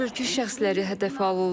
Onlar mülki şəxsləri hədəfə alırlar.